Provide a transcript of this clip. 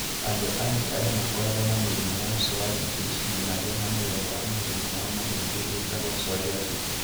Andũ angĩ arĩa makoragwo na mirimũ wa psoriasis nĩmagĩaga mũthemba wa mũrimũ wa mahĩndĩ wĩtagwo psoriatic.